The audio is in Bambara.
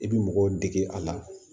I bi mɔgɔw dege a la